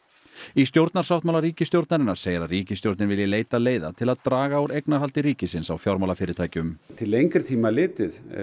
í stjórnarsáttmála ríkisstjórnarinnar segir að ríkisstjórnin vilji leita leiða til að draga úr eignarhaldi ríkisins á fjármálafyrirtækjum til lengri tíma litið